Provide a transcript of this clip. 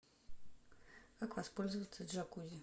как воспользоваться джакузи